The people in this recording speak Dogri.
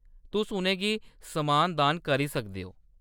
तुस उʼनें गी समान दान करी सकदे ओ।